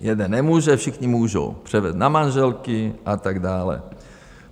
Jeden nemůže, všichni můžou, převedou na manželky a tak dále.